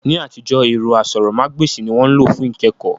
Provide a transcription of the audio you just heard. Ní àtijọ́, ẹ̀rọ asọ̀rọ̀mágb'èsì ni wọ́n lò fún ìkẹ́kọ̀ọ́